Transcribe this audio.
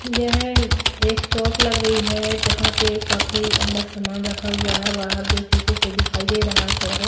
यह एक शॉप लग रही है जहां पे काफी अंदर सामान रखा हुआ है बाहर जो शीशे से दिखाई दे रहा है थोड़ा बहुत--